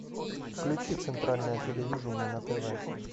включи центральное телевидение на тв